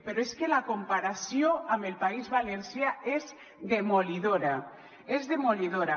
però és que la comparació amb el país valencià és demolidora és demolidora